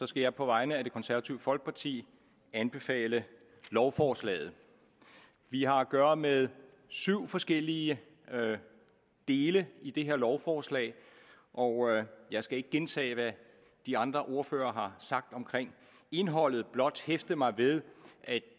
skal jeg på vegne af det konservative folkeparti anbefale lovforslaget vi har at gøre med syv forskellige dele i det her lovforslag og jeg skal ikke gentage hvad de andre ordførere har sagt om indholdet men blot hæfte mig ved at